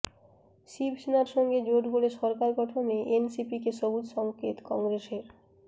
শিবসেনার সঙ্গে জোট গড়ে সরকার গঠনে এনসিপিকে সবুজ সঙ্কেত কংগ্রেসের